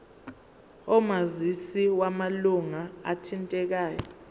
omazisi wamalunga athintekayo